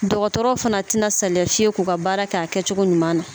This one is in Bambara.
Dɔgɔtɔrɔw fɛnɛ tina saliya fiyewu k'u ka baara kɛ a kɛcogo ɲuman na